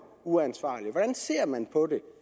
uansvarlige hvordan ser man på det